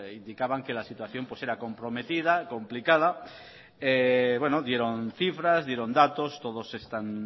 indicaban que la situación era comprometida complicada dieron cifras dieron datos todos están